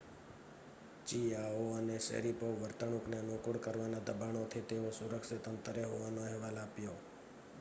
ચિઆઓ અને શૅરિપોવે વર્તણૂકને અનુકૂળ કરવાના દબાણોથી તેઓ સુરક્ષિત અંતરે હોવાનો અહેવાલ આપ્યો